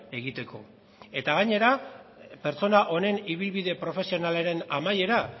egiteko eta gainera pertsona honen ibilbide profesionalaren amaiera